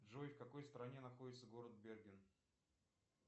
джой в какой стране находится город берген